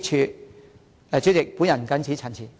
代理主席，我謹此陳辭。